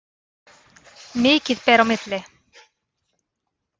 Mikið ber á milli.